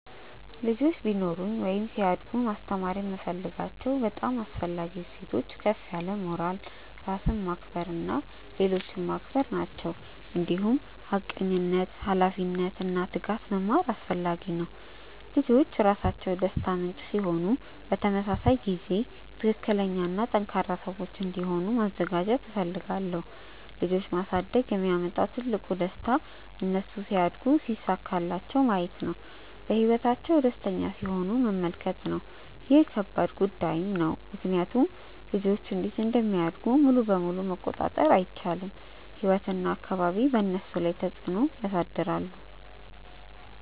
ልጆች ቢኖሩኝ ወይም ሲያድጉ ማስተማር የምፈልጋቸው በጣም አስፈላጊ እሴቶች ከፍ ያለ ሞራል፣ ራስን ማክበር እና ሌሎችን ማክበር ናቸው። እንዲሁም ሐቀኝነት፣ ኃላፊነት እና ትጋት መማር አስፈላጊ ነው። ልጆች ራሳቸው ደስታ ምንጭ ሲሆኑ በተመሳሳይ ጊዜ ትክክለኛ እና ጠንካራ ሰዎች እንዲሆኑ ማዘጋጀት እፈልጋለሁ። ልጆች ማሳደግ የሚያመጣው ትልቁ ደስታ እነሱ ሲያድጉ ሲሳካላቸው ማየት እና በህይወታቸው ደስተኛ ሲሆኑ መመልከት ነው። ይህ ከባድ ጉዳይም ነው ምክንያቱም ልጆች እንዴት እንደሚያድጉ ሙሉ በሙሉ መቆጣጠር አይቻልም፤ ህይወት እና አካባቢ በእነሱ ላይ ተፅዕኖ ያሳድራሉ።